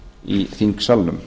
í þingsalnum